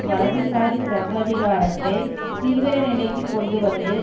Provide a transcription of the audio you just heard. வலதுசாரி சர்வாதிகாரத்தைத் தீவிர நிலைக்கு கொண்டு வந்து